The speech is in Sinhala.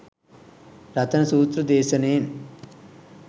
රතන සූත්‍ර දේශනයෙන්